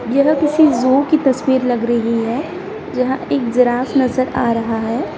ये ना किसी जु की तस्वीर लग रही है जहां एक जिराफ नजर आ रहा है।